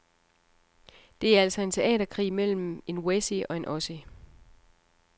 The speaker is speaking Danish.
Det er altså en teaterkrig mellem en wessie og en ossie.